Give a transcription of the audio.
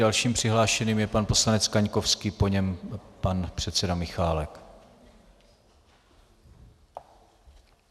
Dalším přihlášeným je pan poslanec Kaňkovský, po něm pan předseda Michálek.